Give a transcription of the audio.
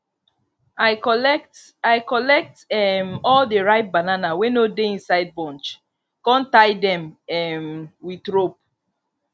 i collect i collect um all the ripe banana wey no dey inside bunch con tie them um with rope